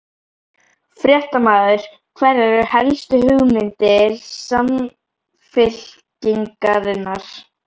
Fréttamaður: Hverjar eru helstu hugmyndir Samfylkingarinnar?